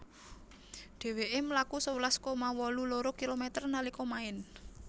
Dhèwèkè mlaku sewelas koma wolu loro kilometer nalika maèn